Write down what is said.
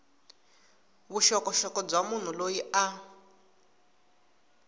vuxokoxoko bya munhu loyi a